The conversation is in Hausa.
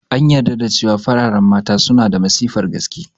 An yarda da cewa fararen Mata suna da matsifar gaske